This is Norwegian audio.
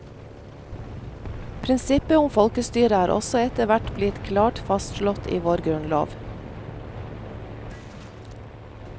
Prinsippet om folkestyre er også etter hvert blitt klart fastslått i vår grunnlov.